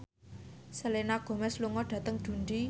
Selena Gomez lunga dhateng Dundee